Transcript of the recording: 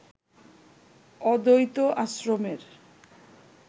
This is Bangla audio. অদ্বৈত আশ্রমের